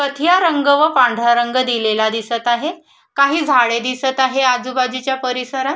कथिया रंग व पांढरा रंग दिलेला दिसत आहे काही झाडे दिसत आहे आजूबाजूच्या परिसरात.